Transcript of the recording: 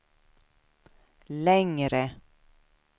längre